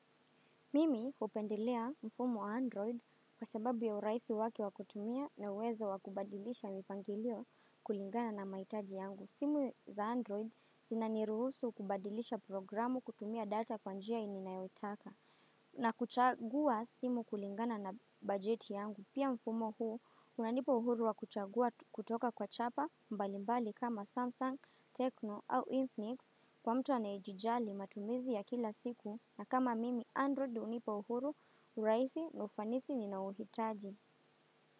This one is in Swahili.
Mimi hupendelea mfumo wa Android kwa sababu ya urahisi wake wakutumia na uwezo wa kubadilisha mipangilio kulingana na mahitaji yangu. Simu za Android zinaniruhusu kubadilisha programu kutumia data kwa njia ninayotaka na kuchagua simu kulingana na bajeti yangu pia mfumo huu unanipa uhuru wa kuchagua kutoka kwa chapa mbalimbali kama Samsung, Tecno au Infinix kwa mtu anayejijali matumizi ya kila siku na kama mimi Android hunipa uhuru urahisi na ufanisi ninaouhitaji.